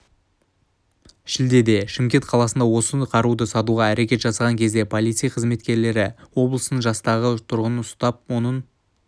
шілдеде шымкент қаласында осы қаруды сатуға әрекет жасаған кезде полиция қызметкерлері облыстың жастағы тұрғынын ұстап оның